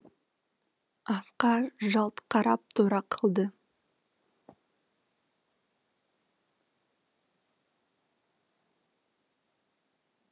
асқар жалт қарап тұра қалды